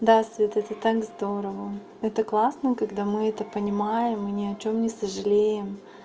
да света это так здорово это классно когда мы это понимаем мы ни о чём не сожалеем